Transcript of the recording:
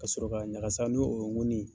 Ka sɔrɔ ka ɲagakasa ni o ye ŋonin ye.